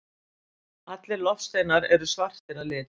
allir loftsteinar eru svartir að lit